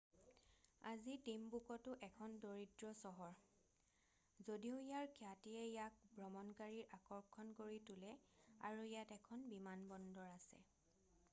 আজি টিমবুকটো এখন দৰিদ্ৰ চহৰ যদিও ইয়াৰ খ্যাতিয়ে ইয়াক ভ্ৰমণকাৰীৰ আকৰ্ষণ কৰি তোলে আৰু ইয়াত এখন বিমানবন্দৰ আছে